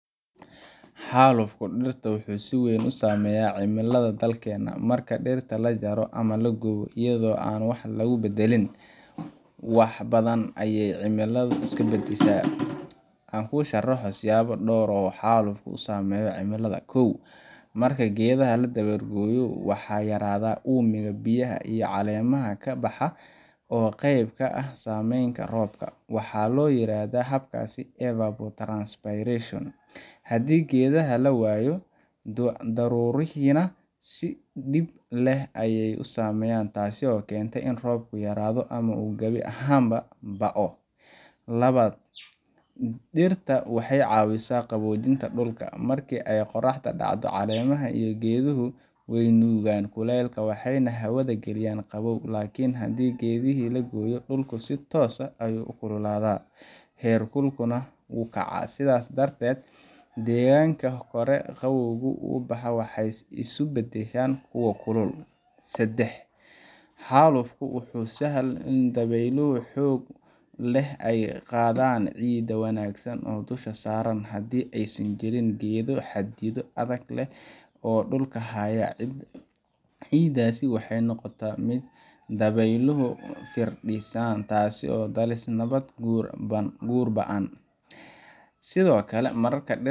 Xaalufka dhirta wuxuu si weyn u saameeyaa cimilada dalkeenna. Marka dhirta la jaro ama la gubo iyadoo aan wax kale lagu beddelin, wax badan ayay cimiladu iska beddeshaa. Aan ku sharxo dhowr siyaabood oo xaalufku uu u saameeyo cimilada: Kow – Marka geedaha la dabar gooyo, waxaa yaraada uumiga biyaha ee caleemaha ka baxa oo qeyb ka ah samayska roobka. Waxaa la yiraahdaa habkaas evapotranspiration. Haddii geedaha la waayo, daruurihiina si dhib leh ayay u samaysmaan, taasoo keenta in roobku yaraado ama uu gabi ahaanba ba’o. Labaad – Dhirta waxay caawisaa qaboojinta dhulka. Markii ay qorraxda dhacdo, caleemaha iyo geeduhu way nuugaan kulaylka waxayna hawada geliyaan qabow. Laakiin haddii geedihii la gooyay, dhulku si toos ah ayuu u kululaadaa, heerkulkuna wuu kacaa. Sidaas darteed, deegaanadii hore qabowga u lahaa waxay isu beddelaan kuwo kulul. Saddex – Xaalufku wuxuu sahlaa in dabeylo xoog leh ay qaadaan ciidda wanaagsan ee dusha saaran. Haddii aysan jirin geedo xididdo adag leh oo dhulka haya, ciiddaas waxay noqotaa mid dabeyluhu firdhiyaan, taasoo dhalisa nabaad guur ba’an. Sidoo kale, marka dhirta